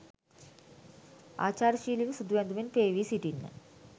ආචාරශීලිව සුදු ඇඳුමෙන් පේවී සිටින්න.